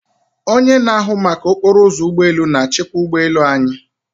Onye na-ahụ maka okporo ụzọ ụgbọ elu na-achịkwa ụgbọ elu anyị.